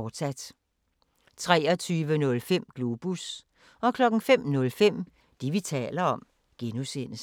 23:05: Globus 05:05: Det, vi taler om (G)